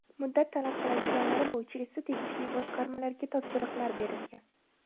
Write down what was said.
Muddat talab qiladiganlari bo‘yicha esa tegishli boshqarmalarga topshiriqlar berilgan.